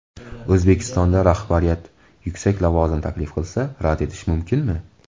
O‘zbekistonda rahbariyat yuksak lavozim taklif qilsa, rad etish mumkinmi?